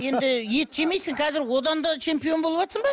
енді ет жемейсің қазір одан да чемпион болыватсың ба